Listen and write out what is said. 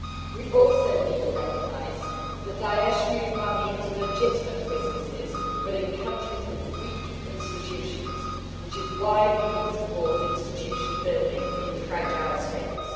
We also need to recognise that Daesh move money into legitimate businesses but in countries with weak institutions, which is why we need to support institution building in fragile states.